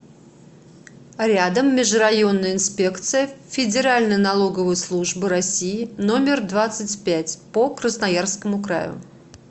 рядом межрайонная инспекция федеральной налоговой службы россии номер двадцать пять по красноярскому краю